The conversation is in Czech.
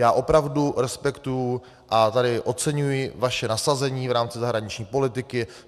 Já opravdu respektuji a tady oceňuji vaše nasazení v rámci zahraniční politiky.